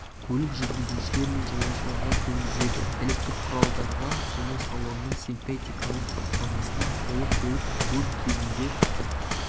көлік жүргізушілер мен жолаушыларға төнгізеді электрқұралдарға және салонның синтетикалық қаптамасына толы көлік өрт кезінде